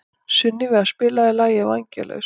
Sunníva, spilaðu lagið „Vængjalaus“.